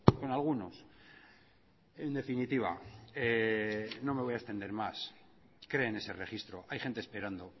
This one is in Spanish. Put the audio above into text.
con algunos en definitiva no me voy a extender más creen ese registro hay gente esperando